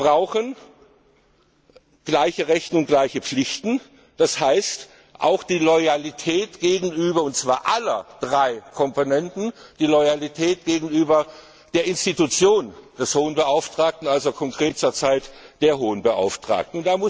Wir brauchen gleiche Rechte und gleiche Pflichten, das heißt auch die Loyalität und zwar aller drei Komponenten gegenüber der Institution des Hohen Beauftragten, also konkret zurzeit der Hohen Beauftragten.